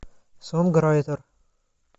сонграйтер